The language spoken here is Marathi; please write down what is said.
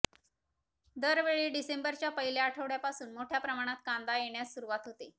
दरवेळी डिसेंबरच्या पहिल्या आठवड्यापासून मोठ्या प्रमाणात कांदा येण्यास सुरुवात होते